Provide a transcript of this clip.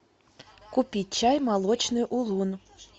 купить чай молочный улун